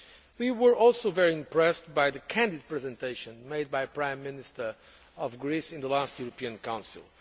We were also very impressed by the candid presentation made by the Prime Minister of Greece in the last European Council.